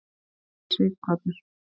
Sighvatur